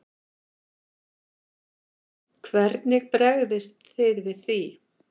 Hvernig bregðist þið við því?